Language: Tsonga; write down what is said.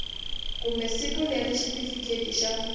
kumbe siku leri xitifiketi xa